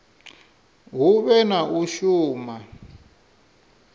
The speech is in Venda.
hu vhe na u shuma